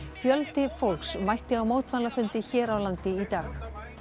fjöldi fólks mætti á mótmælafundi hér á landi í dag